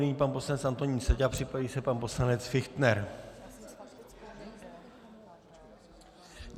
Nyní pan poslanec Antonín Seďa, připraví se pan poslanec Fichtner.